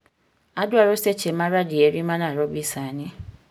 Adwaro seche maradieri manarobi sani